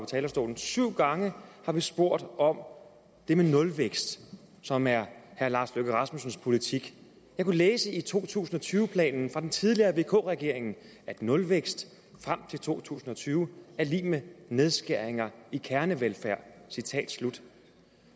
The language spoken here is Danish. talerstolen syv gange har vi spurgt om det med nulvækst som er herre lars løkke rasmussens politik jeg kunne læse i to tusind og tyve planen fra den tidligere vk regering at nulvækst frem til to tusind og tyve er lig med nedskæringer i kernevelfærd citat slut